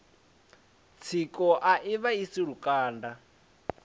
tsiko a i vhaisi lukanda